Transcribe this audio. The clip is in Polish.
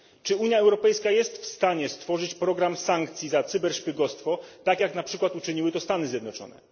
Czy Unia Europejska jest w stanie stworzyć program sankcji za cyberszpiegostwo, tak jak na przykład uczyniły to Stany Zjednoczone?